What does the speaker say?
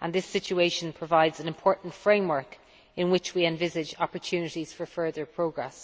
and this situation provides an important framework in which we envisage opportunities for further progress.